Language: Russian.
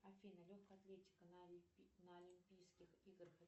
афина легкая атлетика на олимпийских играх